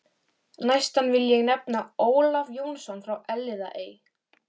Næstan vil ég nefna Ólaf Jónsson frá Elliðaey.